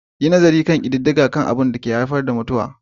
Yi nazarin kididdigar duniya kan abubuwan da ke haifar da mutuwa